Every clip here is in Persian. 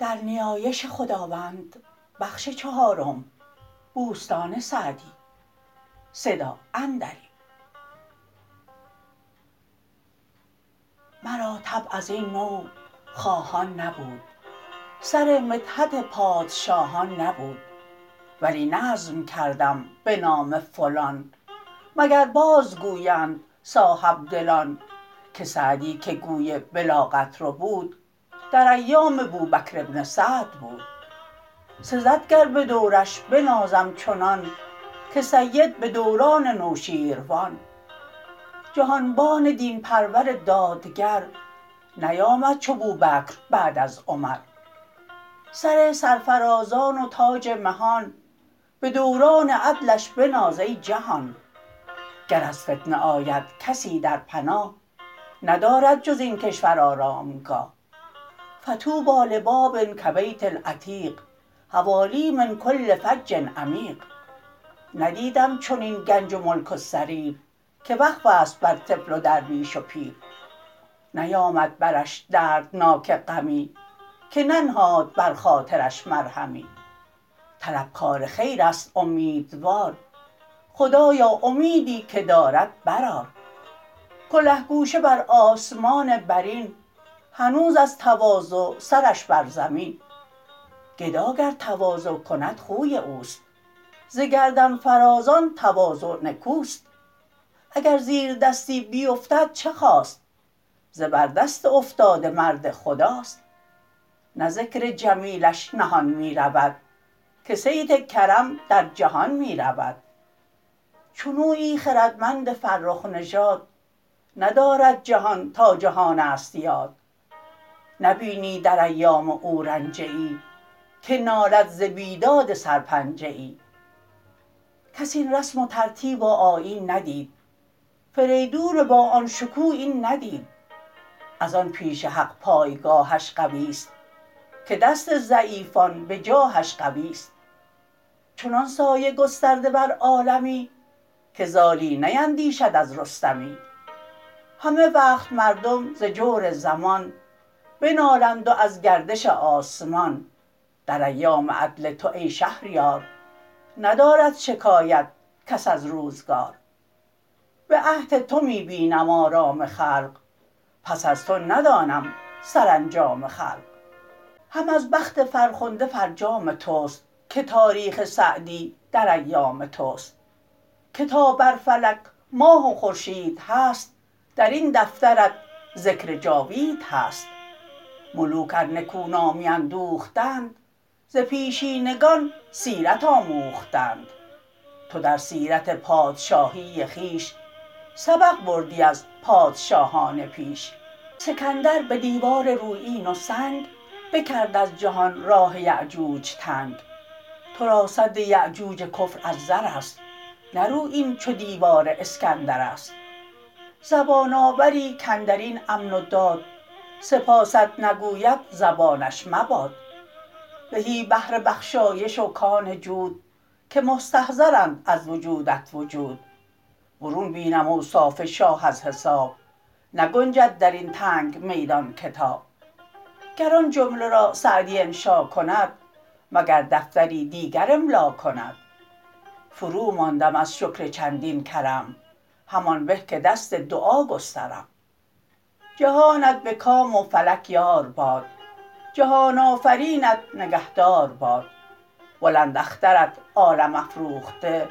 مرا طبع از این نوع خواهان نبود سر مدحت پادشاهان نبود ولی نظم کردم به نام فلان مگر باز گویند صاحبدلان که سعدی که گوی بلاغت ربود در ایام بوبکر بن سعد بود سزد گر به دورش بنازم چنان که سید به دوران نوشیروان جهانبان دین پرور دادگر نیامد چو بوبکر بعد از عمر سر سرفرازان و تاج مهان به دوران عدلش بناز ای جهان گر از فتنه آید کسی در پناه ندارد جز این کشور آرامگاه فطوبی لباب کبیت العتیق حوالیه من کل فج عمیق ندیدم چنین گنج و ملک و سریر که وقف است بر طفل و درویش و پیر نیامد برش دردناک غمی که ننهاد بر خاطرش مرهمی طلبکار خیر است امیدوار خدایا امیدی که دارد برآر کله گوشه بر آسمان برین هنوز از تواضع سرش بر زمین گدا گر تواضع کند خوی اوست ز گردن فرازان تواضع نکوست اگر زیردستی بیفتد چه خاست زبردست افتاده مرد خداست نه ذکر جمیلش نهان می رود که صیت کرم در جهان می رود چنویی خردمند فرخ نژاد ندارد جهان تا جهان است یاد نبینی در ایام او رنجه ای که نالد ز بیداد سرپنجه ای کس این رسم و ترتیب و آیین ندید فریدون با آن شکوه این ندید از آن پیش حق پایگاهش قوی است که دست ضعیفان به جاهش قوی است چنان سایه گسترده بر عالمی که زالی نیندیشد از رستمی همه وقت مردم ز جور زمان بنالند و از گردش آسمان در ایام عدل تو ای شهریار ندارد شکایت کس از روزگار به عهد تو می بینم آرام خلق پس از تو ندانم سرانجام خلق هم از بخت فرخنده فرجام توست که تاریخ سعدی در ایام توست که تا بر فلک ماه و خورشید هست در این دفترت ذکر جاوید هست ملوک ار نکو نامی اندوختند ز پیشینگان سیرت آموختند تو در سیرت پادشاهی خویش سبق بردی از پادشاهان پیش سکندر به دیوار رویین و سنگ بکرد از جهان راه یأجوج تنگ تو را سد یأجوج کفر از زر است نه رویین چو دیوار اسکندر است زبان آوری کاندر این امن و داد سپاست نگوید زبانش مباد زهی بحر بخشایش و کان جود که مستظهرند از وجودت وجود برون بینم اوصاف شاه از حساب نگنجد در این تنگ میدان کتاب گر آن جمله را سعدی انشا کند مگر دفتری دیگر املا کند فروماندم از شکر چندین کرم همان به که دست دعا گسترم جهانت به کام و فلک یار باد جهان آفرینت نگهدار باد بلند اخترت عالم افروخته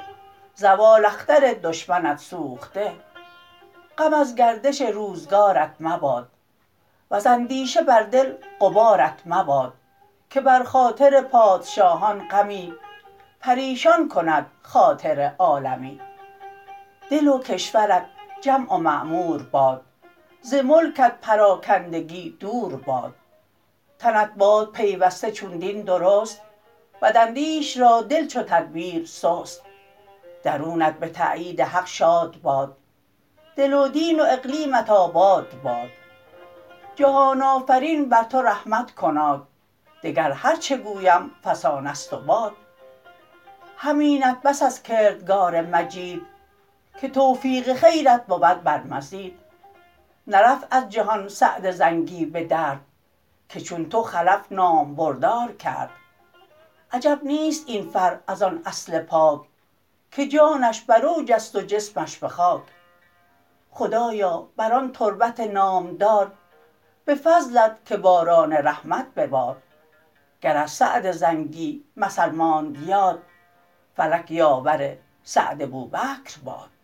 زوال اختر دشمنت سوخته غم از گردش روزگارت مباد وز اندیشه بر دل غبارت مباد که بر خاطر پادشاهان غمی پریشان کند خاطر عالمی دل و کشورت جمع و معمور باد ز ملکت پراکندگی دور باد تنت باد پیوسته چون دین درست بداندیش را دل چو تدبیر سست درونت به تأیید حق شاد باد دل و دین و اقلیمت آباد باد جهان آفرین بر تو رحمت کناد دگر هرچه گویم فسانه ست و باد همینت بس از کردگار مجید که توفیق خیرت بود بر مزید نرفت از جهان سعد زنگی به درد که چون تو خلف نامبردار کرد عجب نیست این فرع از آن اصل پاک که جانش بر اوج است و جسمش به خاک خدایا بر آن تربت نامدار به فضلت که باران رحمت ببار گر از سعد زنگی مثل ماند یاد فلک یاور سعد بوبکر باد